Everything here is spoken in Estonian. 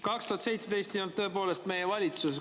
2017 ei olnud tõepoolest meie valitsuses.